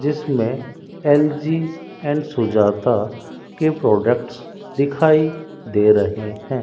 जिसमें LG and Sujata के products दिखाई दे रहे हैं।